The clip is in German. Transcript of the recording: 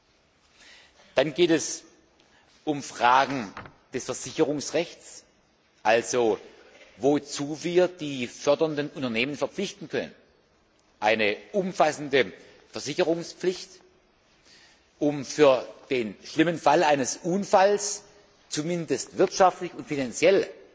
Des Weiteren geht es um Fragen des Versicherungsrechts also um die Frage, wozu wir die fördernden Unternehmen verpflichten können, um eine umfassende Versicherungspflicht, um für den schlimmen Fall eines Unfalls zumindest wirtschaftlich und finanziell